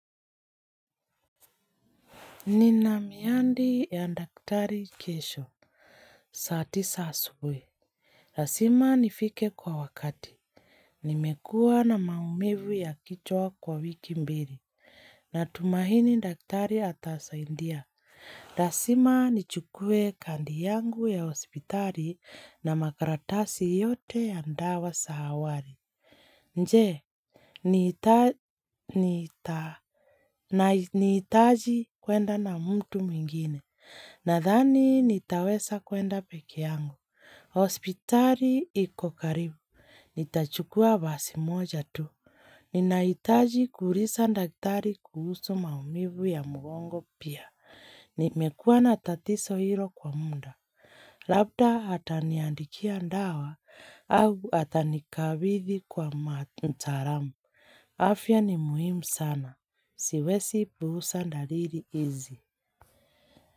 Nina miadi ya daktari kesho, saa tisa asubuhi. Lazima nifike kwa wakati. Nimekuwa na maumivu ya kichwa kwa wiki mbili. Natumahini daktari atasaidia. Lazima nichukue kadi yangu ya hospitali na makaratasi yote ya dawa za awali. Je, nitahitaji kwenda na mtu mwingine. Nadhani nitaweza kwenda pekee yangu. Hospitali iko karibu. Nitachukua basi moja tu. Ninahitaji kuuliza daktari kuhusu maumivu ya mgongo pia. Nimekuwa na tatizo hilo kwa muda. Labda ataniandikia dawa. Au atanikabidhi kwa mtaalamu. Afya ni muhimu sana. Siwezi puuza dalili hizi.